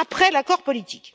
après l'accord politique.